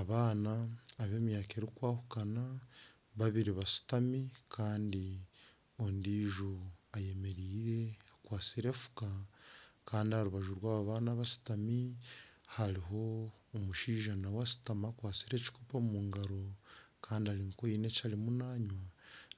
Abaana b'emyaka erikwahukana babiri bashutami kandi ondijo ayemereire akwatsire efuuka kandi aha rubaju rwabo baana abashutami hariho omushaija nawe ashutami akwatsire ekikoopo omu ngaro kandi haine eki arimu nanywa